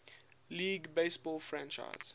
league baseball franchise